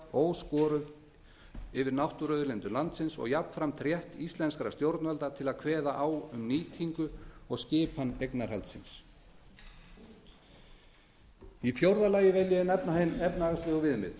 yfirráð yfir náttúruauðlindum landsins og jafnframt rétt íslenskra stjórnvalda til að kveða á um nýtingu og skipan eignarhaldsins fjórða áhrifum hinna efnahagslegu